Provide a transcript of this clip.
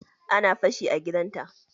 Ana fashi a gidan ta.